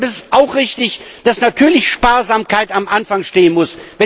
Deshalb ist es auch richtig, dass natürlich Sparsamkeit am Anfang stehen muss.